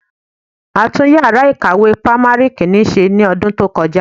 A tún yàrá ìkàwé primary Kínní ṣe ní ọdún tó kọjá.